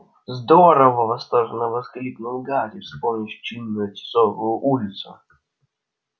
здорово восторженно воскликнул гарри вспомнив чинную тисовую улицу